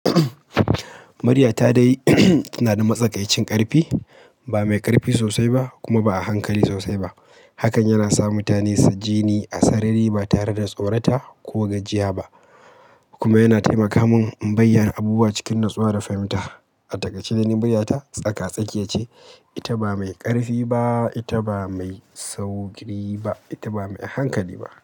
Muryata dai tana da matsakaicin ƙarfi, ba mai ƙarfi sosai ba kuma ba a hankali sosai ba. Hakan yana sa mutane su ji ni a sarari ba tare da tsorata ko gajiya ba, kuma yana taimaka min in bayyana abubuwa cikin natsuwa da fahimta. A takaice dai ni muryata tsaka-tsakiya ce, ita ba mai ƙarfi ba, ita ba mai sauƙi ba, ita ba mai a hankali ba.